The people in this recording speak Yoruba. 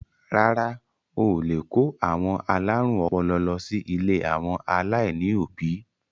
Rárá à, o lè kó àwọn alárùn ọpọlọ lọ sí ilé àwọn aláìní òbí.